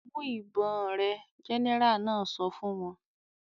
"Mú ìbọn rẹ!" Gẹ́nẹrà náà sọ fún wọn.